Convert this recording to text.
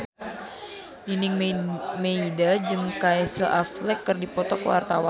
Nining Meida jeung Casey Affleck keur dipoto ku wartawan